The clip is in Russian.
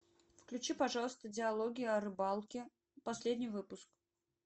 включи пожалуйста диалоги о рыбалке последний выпуск